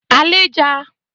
alịja